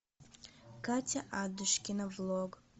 катя адушкина влог